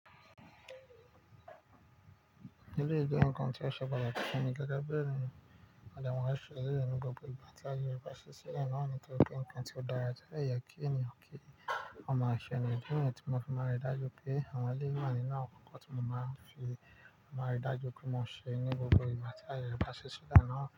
Nílé ìdíje nǹkan tí a ṣe pàtàkì fún mi gẹ́gẹ́ bí ẹni mọ̀lẹ́mọ̀lẹ́ ṣe ní gbogbo ìgbà tí ayẹyẹ bá ṣí sílẹ̀ náà ni kí nǹkan tí ó dára jẹ́ ẹ̀ya kí èèyàn kí. Ọ̀nà àṣẹ ni, díẹ̀ ní ìgbà tí mo fi máa ri dájú pé àwọn ilé ìwé wà nínú àwọn kọ́kọ́ tí mo máa fi máa ri dájú pé mo ṣe ní gbogbo ìgbà tí ayẹyẹ bá ṣí sílẹ̀ náà.